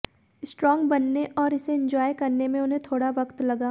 strong बनने और इसे इंजॉय करने में उन्हें थोड़ा वक्त लगा